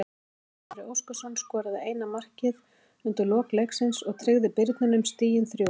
Júlíus Orri Óskarsson skoraði eina markið undir lok leiksins og tryggði Birninum stigin þrjú.